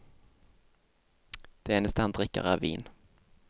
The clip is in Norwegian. Det eneste han drikker er vin.